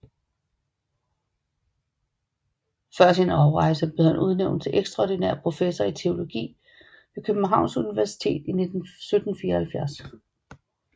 Før sin afrejse blev han udnævnt til ekstraordinær professor i teologi ved Københavns Universitet i 1774